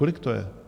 Kolik to je?